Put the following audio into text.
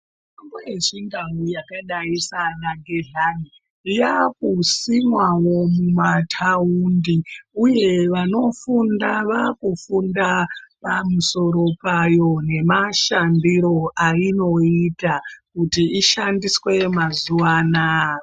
Mitombo yechindau yakadai sana gezhani yakusimwavo mumataundi, uye vanofunda vakufunda pamusoro payo nemashambiro ainoita kuti ishandiswe mazuva anaya.